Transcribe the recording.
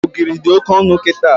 Ogiri dị Oke ọnụ kịta